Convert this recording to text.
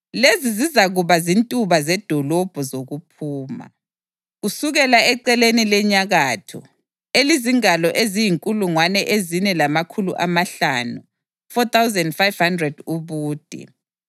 “Lezi zizakuba zintuba zedolobho zokuphuma: Kusukela eceleni lenyakatho, elizingalo eziyinkulungwane ezine lamakhulu amahlanu (4,500) ubude,